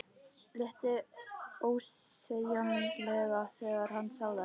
Létti ósegjanlega þegar hann sá þær.